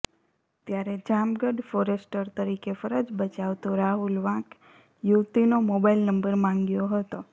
ત્યારે જામગઢ ફોરેસ્ટર તરીકે ફરજ બજાવતો રાહુલ વાંક યુવતીનો મોબાઈલ નંબર માંગ્યો હતો